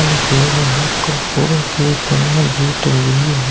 इनके बाहर कुरकुरों की पन्निया भी टंगी हुई हैं।